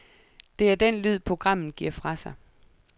Det er den lyd, programmet giver fra sig.